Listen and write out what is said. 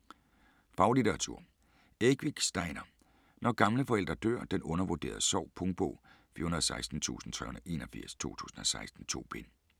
Ekvik, Steinar: Når gamle forældre dør: den undervurderede sorg Punktbog 416381 2016. 2 bind.